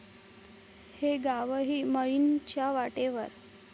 ...हे गावही 'माळीण'च्या वाटेवर!